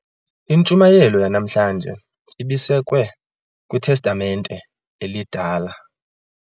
Intshumayelo yanamhlanje ibisekwe kwitestamente elidala.